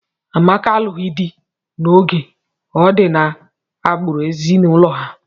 Amaka alụghị di n'oge, ọ di n'agbụrụ ezinụlọ ha.